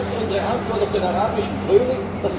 Ist das unsere Antwort auf den Arabischen Frühling?